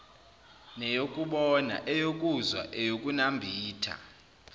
neyokubona eyokuzwa eyokunambitha